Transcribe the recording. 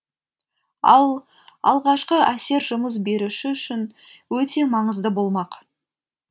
ал алғашқы әсер жұмыс беруші үшін өте маңызды болмақ